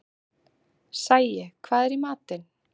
Sæi, hvað er í matinn?